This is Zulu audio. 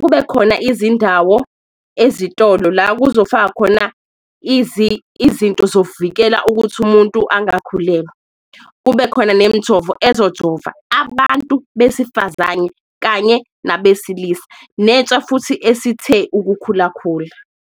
Kube khona izindawo ezitolo la kuzofakwa khona izinto zokuvikela ukuthi umuntu angakhulelwa, kube khona nemijovo ezojova, abantu besifazane kanye nabesilisa nentsha futhi esithe ukukhulakhula.